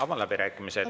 Avan läbirääkimised.